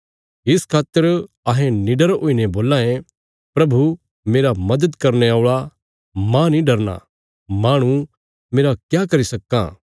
इस खातर अहें निडर हुईने बोलां ये प्रभु मेरा मदद करने औल़ा मांह नीं डरना माहणु मेरा क्या करी सक्कां